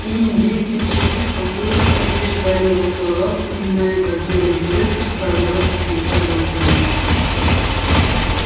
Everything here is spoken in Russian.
и индейцы из чужих посёлков подтверждали его слова вспоминая как белый клык расправлялся с их собаками